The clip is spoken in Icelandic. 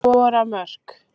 Skora mörk.